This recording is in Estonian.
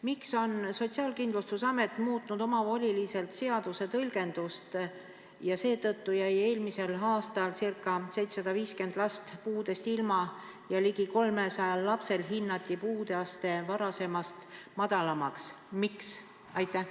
Miks on Sotsiaalkindlustusamet muutnud omavoliliselt seaduse tõlgendust, mille tõttu jäi eelmisel aastal ca 750 last puudeastmest ilma ja ligi 300 lapsel hinnati puudeaste varasemast madalamaks?